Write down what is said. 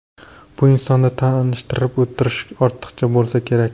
Bu insonni tanishtirib o‘tirish ortiqcha bo‘lsa kerak.